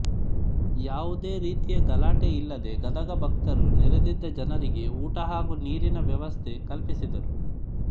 ಯಾವುದೆ ರೀತಿಯ ಗಲಾಟೆ ಇಲ್ಲದೆ ಗದಗ ಭಕ್ತರು ನೆರದಿದ್ದ ಜನರಿಗೆ ಊಟ ಹಾಗೂ ನೀರಿನ ವ್ಯವಸ್ಥೆ ಕಲ್ಪಿಸಿದರು